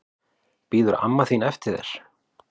Bíður amma þín eftir þér?